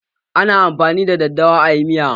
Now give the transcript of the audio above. Ana amfani da daddawa a yi miya.